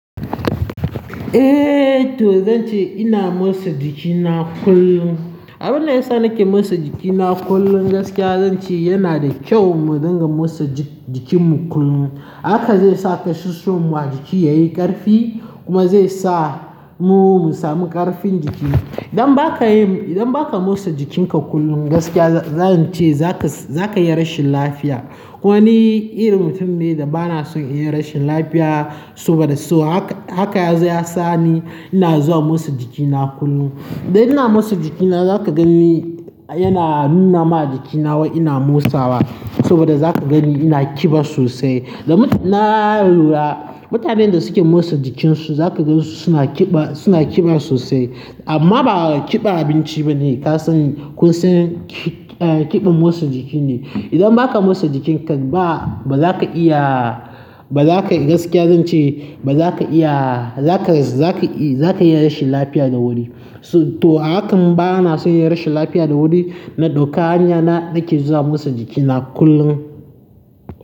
Eh to zan ce ina motsa jikina kullum. Abin da ya sa nake mosa jikina kullum gaskiya zan ce yana da kyau mu dinga mosa jikinmu kullum. Haka zai sa kashushuwan mu a jiki yayi ƙarfi kuma zai sa mu sami ƙarfin jiki. Idan baka yi, idan baka mosa jikinka kullum gaskiya zan ce zaka, zaka iya rashin lafiya. Kuma ni irin mutum ne da bana son in yi rashin lafiya soba da so. Haka, haka yazo ya sa ni ina zuwa mosa jikina kullum. Da ina mosa jikina za ka gan ni yana nuna ma jikina wai ina motsawa saboda za ka gan ni ina kiba sosai. Da na lura mutanen da suke mosa jikinsu za ka ga su suna kiɓa, suna ƙiba sosai. Amma ba kiɓan abinci bane ka san, kun san kiɓan mosa jiki ne. Idan baka mosa jikinka ba bazaka iya, bazaka gaskiya zan ce bazaka iya, zaka, za ka, za ka yi rashin lafiya da wuri. To hakan bana son yin rashin lafiya da wuri na ɗauka hanya na nake zuwa motsa jikina kullum.